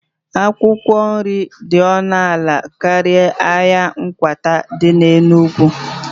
Akwụkwọ nri dị ọnụ ala karịa n'ahịa akwata dị n'Enugwu